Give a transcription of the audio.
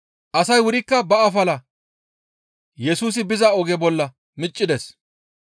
Asay wurikka ba afala Yesusi biza oge bolla miccides.